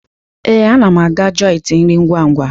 Ee, ana m aga joiti nri ngwa ngwa.